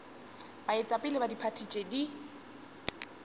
baetapele ba diphathi tše di